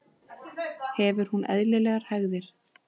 Hefur hún eðlilegar hægðir?